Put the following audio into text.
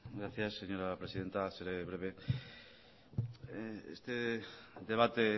gracias señora presidenta seré breve este debate